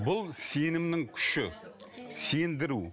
бұл сенімнің күші сендіру